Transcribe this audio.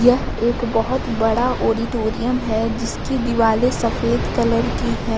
यह एक बहुत बड़ा ऑडिटोरियम है जिसकी दीवाले सफेद कलर की है।